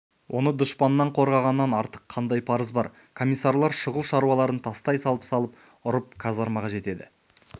оны дұшпаннан қорғағаннан артық қандай парыз бар комиссарлар шұғыл шаруаларын тастай салып салып ұрып казармаға жетеді